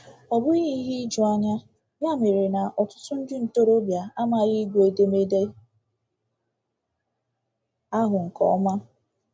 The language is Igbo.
Ọ bụghị ihe ijuanya, ya mere, na ọtụtụ ndị ntorobịa amaghị ịgụ edemede ahụ nke ọma!